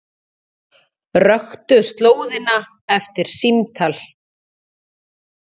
Röktu slóðina eftir símtal